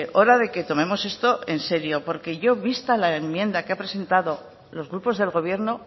hora de que tomemos esto en serio porque yo vista la enmienda que ha presentado los grupos del gobierno